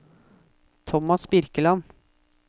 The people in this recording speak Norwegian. Tomas Birkeland